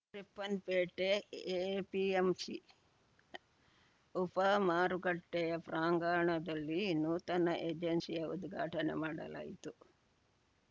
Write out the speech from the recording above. Ripponpet APMC ಉಪಮಾರುಕಟ್ಟೆಪ್ರಾಂಗಣದಲ್ಲಿ ನೂತನ ಏಜೆನ್ಸಿಯ ಉದ್ಘಾಟನೆ ಮಾಡಲಾಯಿತು